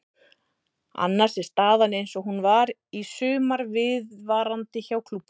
Annars er staðan eins og hún var í sumar viðvarandi hjá klúbbnum.